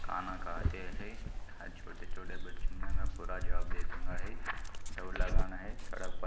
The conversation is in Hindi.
खाना खाते है यहाँ छोटे-छोटे अच्छों मे दौड़ लगाना है। सड़क पर--